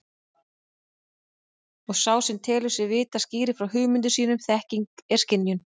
Og sá sem telur sig vita skýrir frá hugmyndum sínum þekking er skynjun.